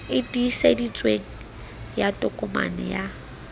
e tiiseditsweng ya tokomane ya